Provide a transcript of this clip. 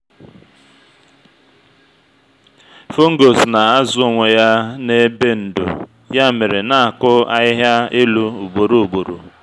fungus na-azụ onwe ya n’ebe ndò ya mere na-akụ ahịhịa elu ugboro ugboro.